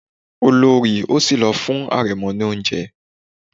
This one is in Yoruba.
Olorì òsì ló fún arẹmọ ní oúnjẹ.